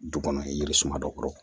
Du kɔnɔ yiri suma dɔ kɔrɔ